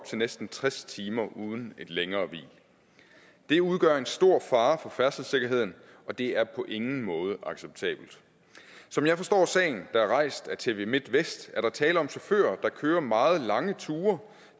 til næsten tres timer uden et længere hvil det udgør en stor fare for færdselssikkerheden og det er på ingen måde acceptabelt som jeg forstår sagen der er rejst af tv midtvest er der tale om chauffører der kører meget lange ture